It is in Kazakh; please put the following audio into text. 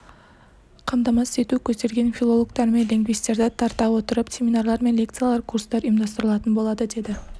қамтамасыз ету көзделген филологтар мен лингвистерді тарта отырып семинарлар мен лекциялар курстар ұйымдастыралатын болады деді